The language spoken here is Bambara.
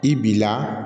I b'i la